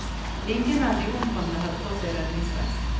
Ingen av de omkomne hadde på seg redningsvest.